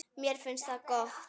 Mér finnst það gott.